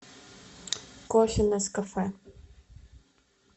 кофе нескафе